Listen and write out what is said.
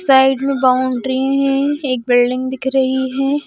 Side में boundary है एक दिख रही है।